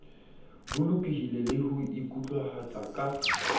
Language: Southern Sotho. bolokolohi le ho ikutlwahatsa ka